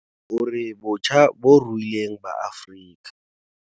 O re botjhaba bo ruileng ba Afrika.